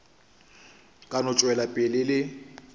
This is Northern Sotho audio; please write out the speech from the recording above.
ka no tšwela pele le